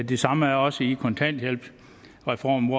det samme er også i kontanthjælpsreformen